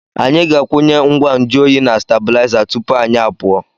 Anyị ga-akwụnye ngwa nju oyi na stabụlaiza tupu anyị pụọ.